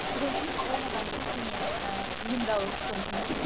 содан кейін ол маған кішкене ііі қиындау соқты мхм